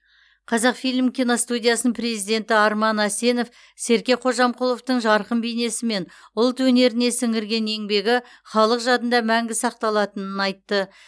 қазақфильм киностудиясының президенті арман әсенов серке қожамқұловтың жарқын бейнесі мен ұлт өнеріне сіңірген еңбегі халық жадында мәңгі сақталатынын айтты